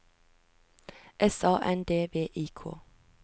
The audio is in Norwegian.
S A N D V I K